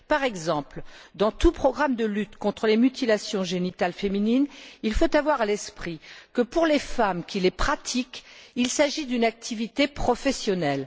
Par exemple, dans tout programme de lutte contre les mutilations génitales féminines, il faut avoir à l'esprit que, pour les femmes qui les pratiquent, il s'agit d'une activité professionnelle.